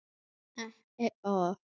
Ekki orð.